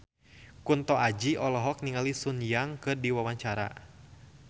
Kunto Aji olohok ningali Sun Yang keur diwawancara